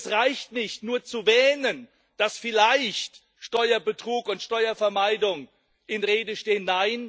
Es reicht nicht nur zu wähnen, dass vielleicht Steuerbetrug und Steuervermeidung in Rede stehen.